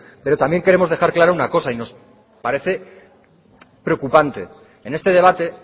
pero también queremos dejar clara una cosa y nos parece preocupante en este debate